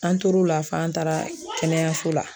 An tor'o la f'an taara kɛnɛyaso la